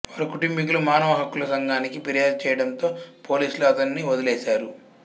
వారి కుటుంబీకులు మానవ హక్కుల సంఘానికి ఫిర్యాదు చేయటంతో పోలీసులు అతనిని వదిలివేశారు